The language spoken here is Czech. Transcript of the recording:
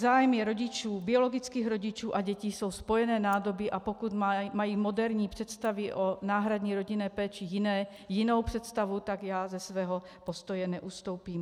Zájmy rodičů, biologických rodičů, a dětí jsou spojené nádoby, a pokud mají moderní představy o náhradní rodinné péči jinou představu, tak já ze svého postoje neustoupím.